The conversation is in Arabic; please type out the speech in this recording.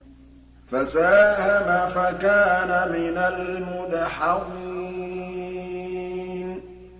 فَسَاهَمَ فَكَانَ مِنَ الْمُدْحَضِينَ